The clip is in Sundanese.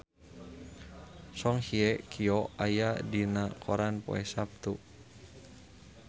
Song Hye Kyo aya dina koran poe Saptu